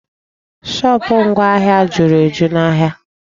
Shopụ̀ ngwa ahịa juru eju n'ahịa.